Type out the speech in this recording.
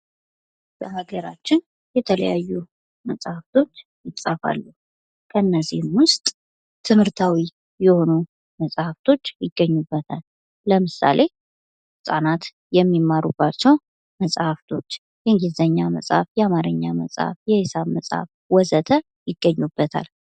በሀገራችን የተለያዩ መሐፍቶች ይጻፋሉ ከነዚህም ውስጥ ትምህርታዊ የሆኑ መጽሀፍቶች ይገኙበታል። ለምሳሌ:-ህፃናት የሚመሩባቸው መጻህፍቶች የእንግሊዘኛመጽሐፍ ፣የአማርኛ መጽሐፍ ፣የሂሳብ መጽሀፍ ወዘተ.... ይገኙበታል።